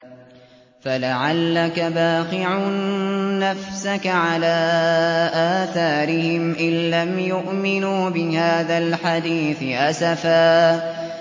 فَلَعَلَّكَ بَاخِعٌ نَّفْسَكَ عَلَىٰ آثَارِهِمْ إِن لَّمْ يُؤْمِنُوا بِهَٰذَا الْحَدِيثِ أَسَفًا